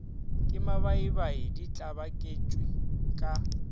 ke mabaibai di tlabaketšwe ka